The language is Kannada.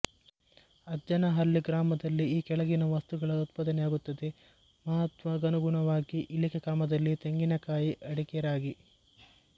ಅಜ್ಜನಹಳ್ಲಿ ಗ್ರಾಮದಲ್ಲಿ ಈ ಕೆಳಗಿನ ವಸ್ತುಗಳ ಉತ್ಪಾದನೆಯಾಗುತ್ತದೆ ಮಹತ್ವಗನುಗುಣವಾಗಿ ಇಳಿಕೆ ಕ್ರಮದಲ್ಲಿತೆಂಗಿನಕಾಯಿಅಡಿಕೆರಾಗಿ